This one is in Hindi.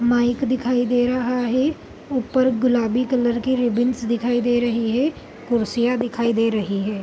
माइक दिखाई दे रहा है ऊपर गुलाबी कलर के रिबन्स दिखाई दे रहें हैं कुर्सियाँ दिखाई दे रही हैं।